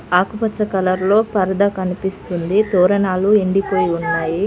ఆకుపచ్చ కలర్ లో పరదా కనిపిస్తుంది తోరణాలు ఎండిపోయి ఉన్నాయి.